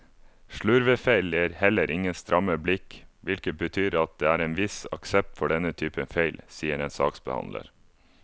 Slurvefeil gir heller ingen stramme blikk, hvilket betyr at det er en viss aksept for denne typen feil, sier en saksbehandler.